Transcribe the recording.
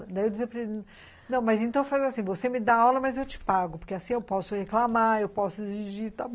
Daí eu disse para ele, não, mas então faz assim, você me dá aula, mas eu te pago, porque assim eu posso reclamar, eu posso exigir, está bom.